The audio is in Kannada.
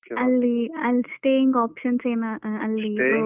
Okay ಅಲ್ಲಿ ಅಲ್ staying options ಏನಾ ಅಹ್ ಅಲ್ಲಿ.